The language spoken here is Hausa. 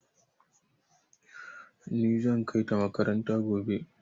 Ni zan kai ta makaranta gobe.